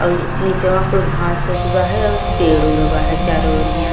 और निचवा कुल घांस फुस बावे और पेड़ उड़ बावे चारो ओरियां।